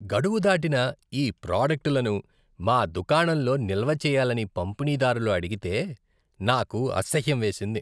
గడువు దాటిన ఈ ప్రాడక్టులను మా దుకాణంలో నిల్వ చేయాలని పంపిణీదారులు అడిగితే నాకు అసహ్యం వేసింది.